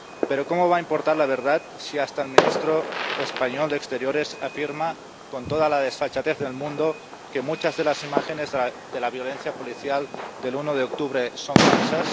Pero, ¿cómo va a importar la verdad si hasta el ministro español de Asuntos Exteriores afirma, con toda la desfachatez del mundo, que muchas de las imágenes de la violencia policial del 1 de octubre son falsas?